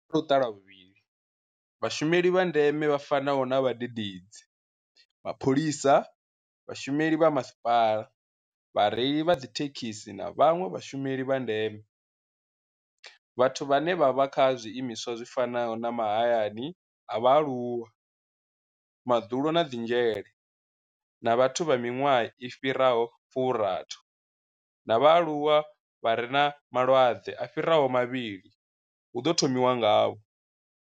Kha Luṱa lwa vhuvhili, vhashumeli vha ndeme vha fanaho na vhadededzi, mapholisa, vhashumeli vha masipala, vhareili vha dzithe khisi na vhanwe vhashumeli vha ndeme, vhathu vhane vha vha kha zwiimiswa zwi fanaho na mahayani a vhaaluwa, madzulo na dzi dzhele, na vhathu vha miṅwaha i fhiraho 60 na vhaaluwa vha re na malwadze a fhiraho mavhili hu ḓo thomiwa ngavho.